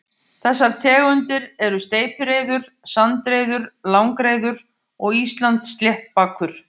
Þessar tegundir eru steypireyður, sandreyður, langreyður og Íslandssléttbakur.